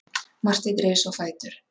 Marteinn reis á fætur.